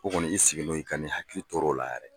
O kɔni i sigi n'o ka n'i hakili tɔɔr'o la yɛrɛ